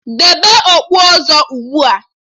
Debe okpu ọzọ ugbua!